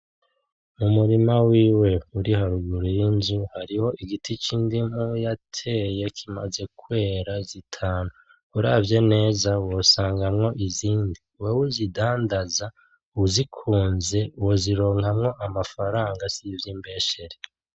Umurima wiwe uri haruguru y'inzu, hariho igiti c'indimu yateye kimaze kwera zitanu, uravye neza wosangamwo izindi, wewe uzindandaza uzikunze wozironkamwo amafaranga sivyimbeshere.